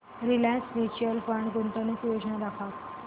Reliance mutual fund गुंतवणूक योजना दाखव